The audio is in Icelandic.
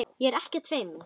Ég er ekkert feimin.